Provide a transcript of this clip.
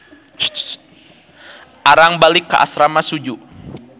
Arang balik ka asrama Suju.